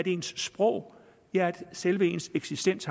ens sprog ja selve ens eksistens